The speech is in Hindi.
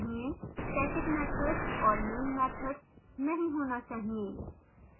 static मैथड्स और main मैथड्स नहीं होना चाहिए